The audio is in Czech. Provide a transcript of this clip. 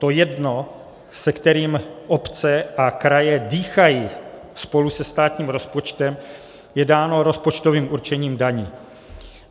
To jedno, se kterým obce a kraje dýchají spolu se státním rozpočtem, je dáno rozpočtovým určením daní.